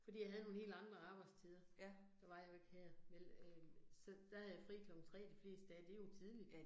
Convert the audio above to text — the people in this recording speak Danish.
Fordi jeg havde nogle helt andre abejdstider. Der var jeg jo ikke her vel øh, så der havde jeg fri klokken 3 de fleste dage, det jo tidligt